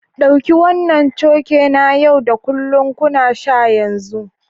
Ɗauki wannan coke na yau da kullun ku sha a yanzu!